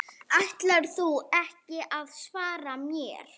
Ætlarðu ekki að svara mér?